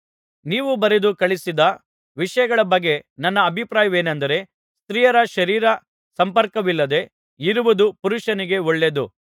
ನೀವು ಬರೆದು ಕಳುಹಿಸಿದ ವಿಷಯಗಳ ಬಗ್ಗೆ ನನ್ನ ಅಭಿಪ್ರಾಯವೇನೆಂದರೆ ಸ್ತ್ರೀಯರ ಶರೀರ ಸಂಪರ್ಕವಿಲ್ಲದೆ ಇರುವುದು ಪುರುಷನಿಗೆ ಒಳ್ಳೆಯದು